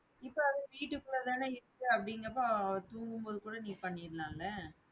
இப்போ வீட்டுக்குள்ள தானே இருக்கு அப்படிங்கிறப்ப தூங்கும் போது கூட நீ பண்ணிடலாம்ல